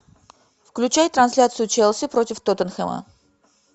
включай трансляцию челси против тоттенхэма